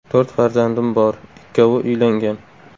To‘rt farzandim bor, ikkovi uylangan.